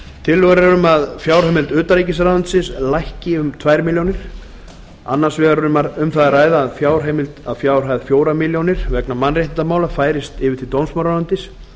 tillögur eru um að fjárheimild utanríkisráðuneytis lækki um tvær milljónir króna annars vegar er um það að ræða að fjárheimild að fjárhæð fjórar milljónir króna vegna mannréttindamála færist til dómsmálaráðuneytis